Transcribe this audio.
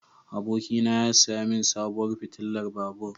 Abokina ya saya min sabuwar fitilar babur.